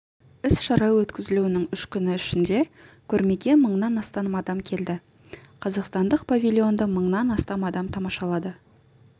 іс-шара өткізілуінің үш күні ішінде көрмеге мыңнан астам адам келді қазақстандық павильонды мыңнан астам адам тамашалады